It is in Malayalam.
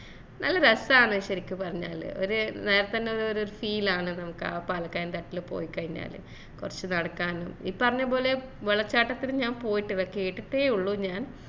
നല്ല രസാണ് ശെരിക്ക് പറഞ്ഞാല് ഒരു നേരത്ത ന്നെ ഒരു feel ആണ് നമുക്ക് അഹ് പാലക്കയം തട്ടില് പോയി കഴിഞ്ഞാല് കൊറച്ച് നടക്കാനും ഈ പറഞ്ഞപോലെ വെള്ളച്ചാട്ടത്തില് ഞാൻ പോയിട്ട്ഇല്ല കേട്ടിട്ടെ ഉള്ളു ഞാൻ